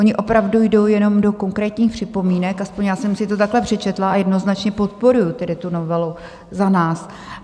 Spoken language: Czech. Ony opravdu jdou jenom do konkrétních připomínek, aspoň já jsem si to takhle přečetla, a jednoznačně podporuji tedy tu novelu za nás.